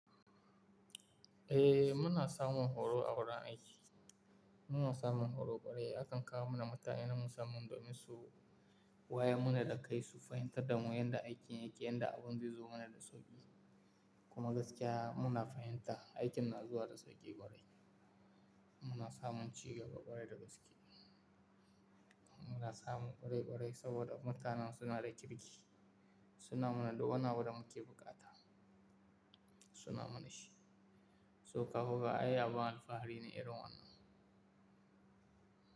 Eh muna samun horo a wurin aiki, muna samun horo bare akan kawo mana mutane na musamman domin su waya mana da kai su fahimtar da mu yadda aikin yake, yadda abun zai zo mana da sauƙi kuma gaskiya muna fahimta aikin na zuwa da sauƙi ƙwarai. Muna samun cigaba ƙwarai da gaske. Muna samun ƙwarai ƙwarai saboda mutanen suna da kirki, suna mana du wani abu da muke buƙata, suna mana shi. Sauka kuka ai abin alfahari ne irin wannan.